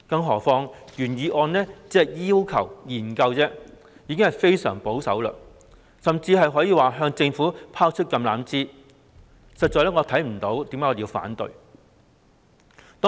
何況原議案只要求作出研究，可說是非常保守，甚至是向政府拋出橄欖枝，我實在看不到有任何反對的理由。